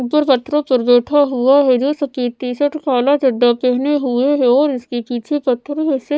ऊपर पथरों पर बैठा हुआ है जो सफेद टी शर्ट काला चड्ढा पहने हुए है और इसके पीछे पत्थर है से--